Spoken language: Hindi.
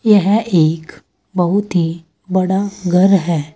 यह एक बहुत ही बड़ा घर है।